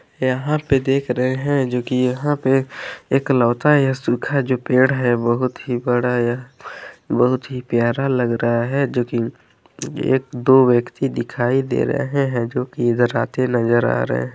यहां पे देख रहे हैं जो की यहां पे एकलौता यह सुखा जो पेड़ है बहुत ही बड़ा यह बहुत ही प्यारा लग रहा है जो की एक दो व्यक्ति दिखाई दे रहे हैं जो की इधर आते नजर आ रहें हैं।